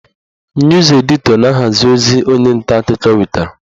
Nus editọ na-ahazi ozi onye nta akụkọ wetara